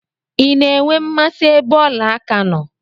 I na-enwe mmasị ebe ọla aka nọ?